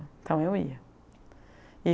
Então eu ia.